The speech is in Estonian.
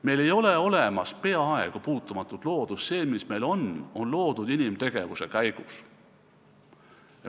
Meil ei ole peaaegu olemas puutumatut loodust, see, mis meil on, on loodud inimtegevuse käigus.